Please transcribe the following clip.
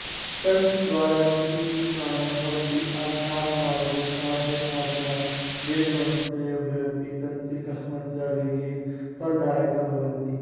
तन्त्रद्वारा झटिति त्राणं भवति आध्यात्ममार्गे साध्यसाधनाय वेदमन्त्रेभ्योऽपि तान्त्रिकाः मन्त्राः वेगेन फलदायका भवन्ति